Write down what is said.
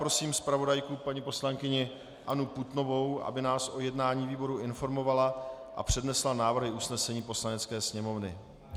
Prosím zpravodajku paní poslankyni Annu Putnovou, aby nás o jednání výboru informovala a přednesla návrhy usnesení Poslanecké sněmovny.